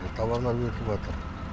тауарлар өсіватыр